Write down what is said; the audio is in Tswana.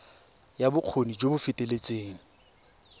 ya bokgoni jo bo feteletseng